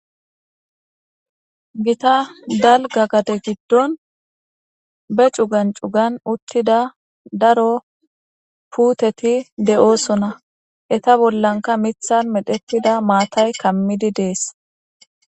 Gitta daliga gade gidon be cugan cugan utida daro puteti de'osona eta bollanka mithan medhetida matay kamidides